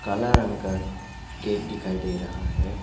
काला रंग का गेट दिखाई दे रहा है।